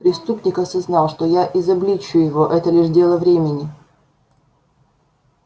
преступник осознал что я изобличу его это лишь дело времени